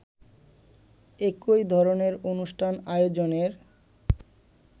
একই ধরনের অনুষ্ঠান আয়োজনের